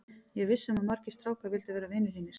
Ég er viss um að margir strákar vildu verða vinir þínir.